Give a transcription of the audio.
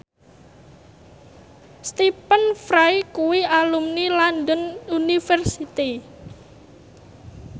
Stephen Fry kuwi alumni London University